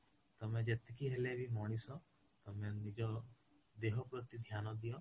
ତମେ ଯେତିକି ହେଲେବି ମଣିଷ ତମେ ନିଜ ଦେହ ପ୍ରତି ଧ୍ୟାନ ଦିଅ